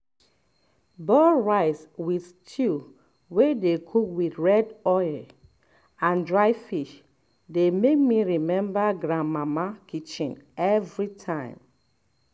boiled rice with stew wey dey cook with red oil and dry fish dey make me remember grandmama kitchen everytime